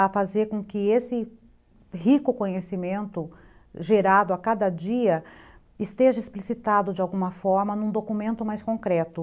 a fazer com que esse rico conhecimento gerado a cada dia esteja explicitado de alguma forma num documento mais concreto.